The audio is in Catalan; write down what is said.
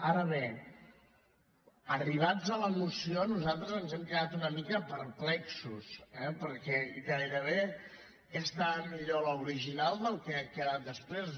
ara bé arribats a la moció nosaltres ens hem quedat una mica perplexos eh perquè gairebé estava millor l’original que el que ha quedat després